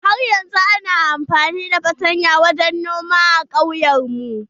Har yanzun ana amfani da fartanya wajen noma a kauyen mu.